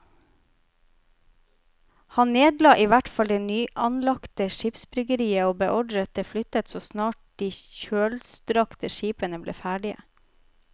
Han nedla i hvert fall det nyanlagte skipsbyggeriet og beordret det flyttet så snart de kjølstrakte skipene ble ferdige.